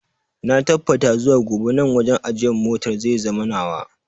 Na tabbabta zuwa gobe nan wajen ajiyan motar zai zama nawa.